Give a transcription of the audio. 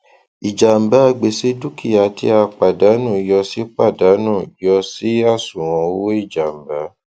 ìjàmbágbèsè dúkìá tí a pàdánù yọ sí pàdánù yọ sí àṣùwọn owó ìjàmbá